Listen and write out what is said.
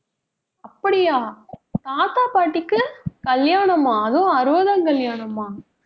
அப்படியா தாத்தா, பாட்டிக்கு கல்யாணமா அதுவும் அறுபதாம் கல்யாணமா